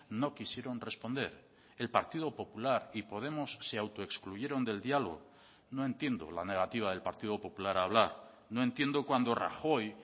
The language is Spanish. no quisieron responder el partido popular y podemos se autoexcluyeron del diálogo no entiendo la negativa del partido popular a hablar no entiendo cuando rajoy